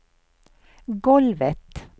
golvet